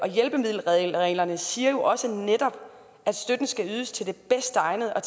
hjælpemiddelreglerne siger jo også netop at støtten skal ydes til det bedst egnede og